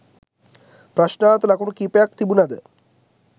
ප්‍රශ්නාර්ථ ලකුණු කිපයක් තිබුණද